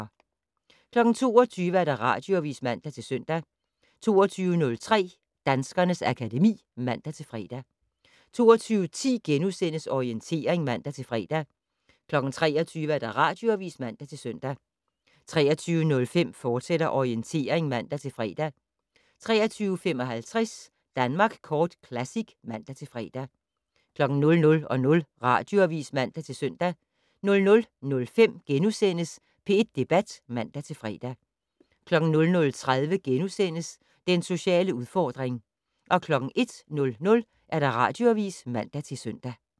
22:00: Radioavis (man-søn) 22:03: Danskernes akademi (man-fre) 22:10: Orientering *(man-fre) 23:00: Radioavis (man-søn) 23:05: Orientering, fortsat (man-fre) 23:55: Danmark Kort Classic (man-fre) 00:00: Radioavis (man-søn) 00:05: P1 Debat *(man-fre) 00:30: Den sociale udfordring * 01:00: Radioavis (man-søn)